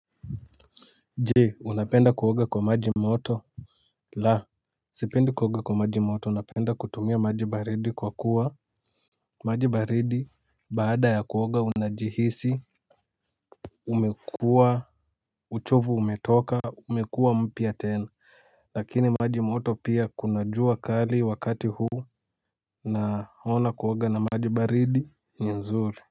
Jee unapenda kuoga kwa maji moto. La sipendi kuoga kwa maji moto unapenda kutumia maji baridi kwa kuwa maji baridi baada ya kuoga unajihisi uchovu umetoka umekuwa mpya tena lakini maji moto pia kunajua kali wakati huu na ona kuoga na maji baridi ni nzuri.